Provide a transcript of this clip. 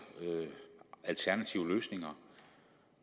alternative løsninger